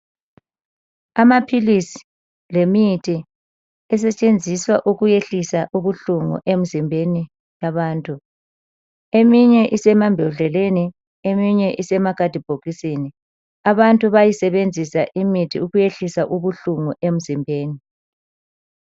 Amaphilisi lemithi esetshenziswa ukuyehlisa ubuhlungu emzimbeni yabantu. Eminye isemambodleleni eminye isemakhadibhokisini. Abantu bayayisebenzisa imithi ukwehlisa ubuhlungu emzimbeni.